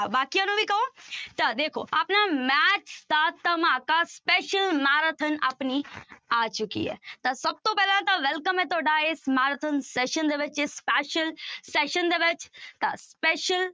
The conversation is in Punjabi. ਬਾਕੀਆਂ ਨੂੰ ਵੀ ਕਹੋ ਤਾਂ ਦੇਖੋ ਆਪਣਾ math ਦਾ ਧਮਾਕਾ special marathon ਆਪਣੀ ਆ ਚੁੱਕੀ ਹੈ ਤਾਂ ਸਭ ਤੋਂ ਪਹਿਲਾਂ ਤਾਂ welcome ਹੈ ਤੁਹਾਡਾ ਇਸ marathon session ਦੇ ਵਿੱਚ ਇਸ special session ਦੇ ਵਿੱਚ ਤਾਂ special